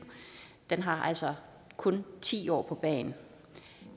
den har altså kun ti år på bagen